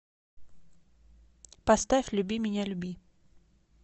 поставь люби меня люби